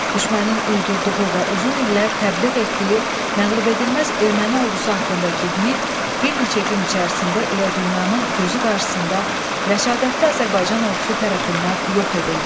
Düşmənin uydurduğu və uzun illər təbliğ etdiyi məğlubedilməz erməni ordusu haqqındakı mif bir neçə gün içərisində elə dünyanın gözü qarşısında rəşadətli Azərbaycan ordusu tərəfindən yox edildi.